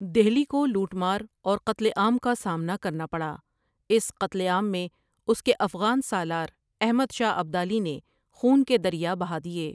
دہلی کو لوٹ مار اور قتل عام کا سامنا کرنا پڑا اس قتل عام میں اس کے افغان سالار احمد شاہ ابدالی نے خون کے دریا بہا دیے ۔